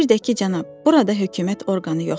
Bir də ki, cənab, burada hökumət orqanı yoxdur.